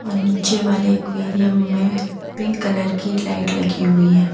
नीचे वाले एक्वेरियम में पिंक कलर की लाइट लगी हुई है।